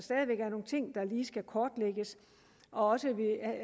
lige skal kortlægges og